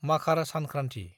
माखार सानख्रान्थि